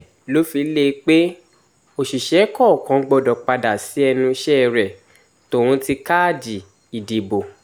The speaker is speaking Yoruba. bẹ́ẹ̀ ló fi lé e pé òṣìṣẹ́ kọ̀ọ̀kan gbọ́dọ̀ padà sí ẹnu iṣẹ́ rẹ̀ tóun ti káàdì ìdìbò